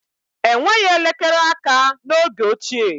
Enweghị elekere aka n'oge ochie